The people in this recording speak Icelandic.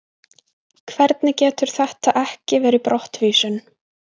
Hvernig getur þetta ekki verið brottvísun?